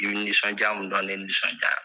I b'i nisɔndiya mun dɔn ne nisɔndiyara.